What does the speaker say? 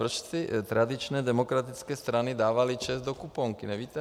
Proč ty tradiční demokratické strany dávaly ČEZ do kuponky, nevíte?